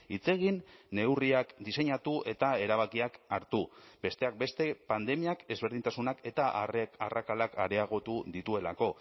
hitz egin neurriak diseinatu eta erabakiak hartu besteak beste pandemiak ezberdintasunak eta arrakalak areagotu dituelako